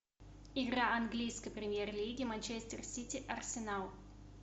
игра английской премьер лиги манчестер сити арсенал